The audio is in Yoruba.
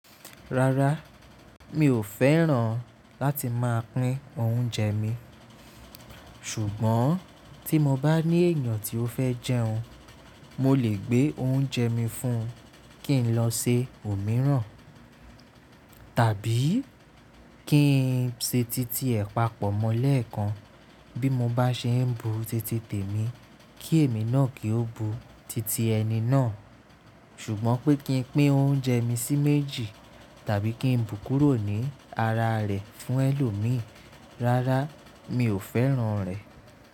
Rárá, mi ò fẹ́ràn láti máa pín oúnjẹ mi, ṣùgbọ́n tí mo bá ní èèyàn tí ó fẹ́ jẹun, mo lè gbé oúnjẹ mi fún un kí n lọ se òmíràn, tàbí kí n se titi ẹ̀ papọ̀ mọ́ lẹ́ẹ̀kan bí mo bá ṣe ń bu titi tèmi kí èmi náà kí ó bu titi ẹni náà. Ṣùgbọ́n pé kí n pín oúnjẹ mi sí méjì tàbí kí n bù kúrò ní ara rẹ̀ fún ẹlòmíì, rárá mi ò fẹ́ràn rẹ̀.